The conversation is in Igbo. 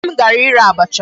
Nne m gara ire abacha.